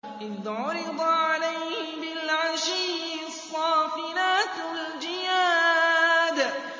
إِذْ عُرِضَ عَلَيْهِ بِالْعَشِيِّ الصَّافِنَاتُ الْجِيَادُ